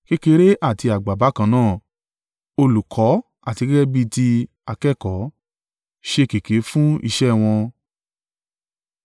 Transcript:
Kékeré àti àgbà bákan náà, olùkọ́ àti gẹ́gẹ́ bí ti akẹ́kọ̀ọ́, ṣẹ́ kèké fún iṣẹ́ wọn.